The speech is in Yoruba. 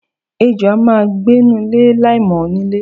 Ejò a máa gbenu ilé láìmò̩ onílé.